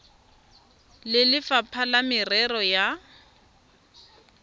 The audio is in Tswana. le lefapha la merero ya